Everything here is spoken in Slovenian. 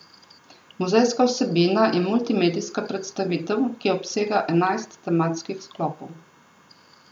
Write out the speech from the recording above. Muzejska vsebina je multimedijska predstavitev, ki obsega enajst tematskih sklopov.